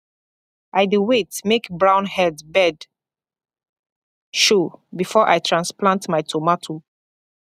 i dey wait make brownhead bird show before i transplant my tomato